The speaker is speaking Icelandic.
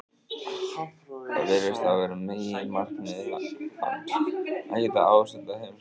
Það virðist hafa verið meginmarkmið hans, að geta ástundað heimspekina.